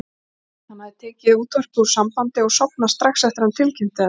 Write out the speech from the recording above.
Hann hafði tekið útvarpið úr sambandi og sofnað strax eftir að hann tilkynnti þetta.